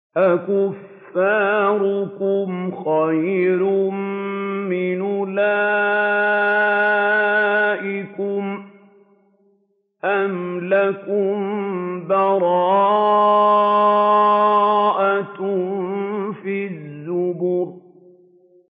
أَكُفَّارُكُمْ خَيْرٌ مِّنْ أُولَٰئِكُمْ أَمْ لَكُم بَرَاءَةٌ فِي الزُّبُرِ